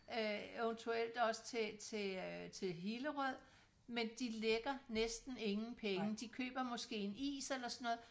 Øh eventuelt også til til øh til Hillerød men de lægger næsten ingen penge de køber måske en is eller sådan noget